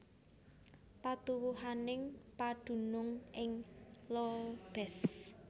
Patuwuhaning padunung ing Lobez